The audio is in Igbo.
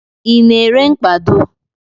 I na-ere mkpado?